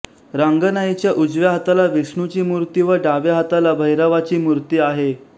रांगणाईच्या उजव्या हाताला विष्णूची मुर्ती व डाव्या हाताला भैरवाची मूर्ती आहे